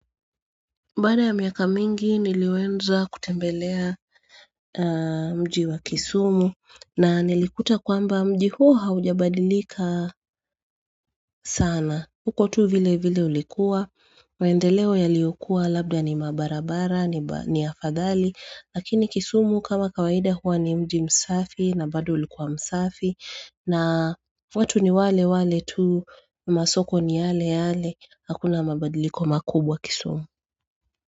Baada ya miaka mingi niliweza kutembelea mji wa kisumu na nilikuta kwamba mji huo haujabadilika sana. Uko tu vile vile ulikuwa, maendeleo yaliyokua labda ni mabarabara, ni afadhali. Lakini kisumu kama kawaida huwa ni mji msafi na bado ulikuwa msafi na watu ni wale wale tu masoko ni yale yale, hakuna mabadiliko makubwa kisumu.